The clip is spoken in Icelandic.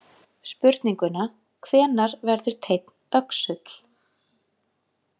Spurninguna „Hvenær verður teinn öxull?“